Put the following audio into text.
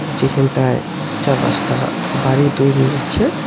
যেখানটায় চারপাশটা বাড়ি তৈরি হচ্ছে।